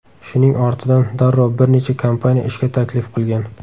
Shuning ortidan darrov bir necha kompaniya ishga taklif qilgan.